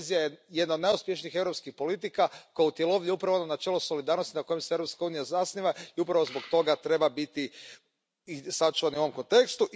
Kohezija je jedna od najuspješnijih europskih politika koja utjelovljuje upravo ono načelo solidarnosti na kojem se Europska unija zasniva i upravo zbog toga treba biti sačuvana i u ovom kontekstu.